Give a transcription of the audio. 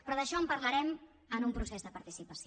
però d’això en parlarem en un procés de participació